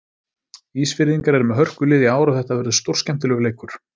Ísfirðingar eru með hörkulið í ár og þetta verður stórskemmtilegur leikur.